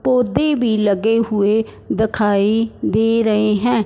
पौधे भी लगे हुए दिखाई दे रहे हैं।